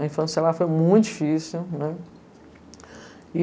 A infância, sei lá, foi muito difícil, né?